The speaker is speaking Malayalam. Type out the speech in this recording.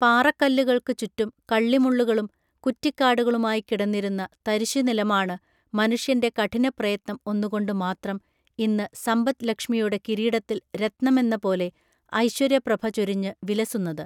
പാറക്കല്ലുകൾക്കു ചുറ്റും കള്ളിമുള്ളുകളും കുറ്റിക്കാടുകളുമായിക്കിടന്നിരുന്ന തരിശുനിലമാണ് മനുഷ്യന്റെ കഠിനപ്രയത്നം ഒന്നുകൊണ്ടു മാത്രം ഇന്ന് സമ്പദ് ലക്ഷ്മിയുടെ കിരീടത്തിൽ രത്നമെന്ന പോലെ ഐശ്വര്യപ്രഭ ചൊരിഞ്ഞു വിലസുന്നത്